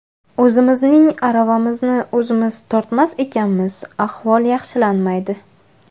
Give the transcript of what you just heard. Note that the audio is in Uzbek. O‘zimizning aravamizni o‘zimiz tortmas ekanmiz ahvol yaxshilanmaydi.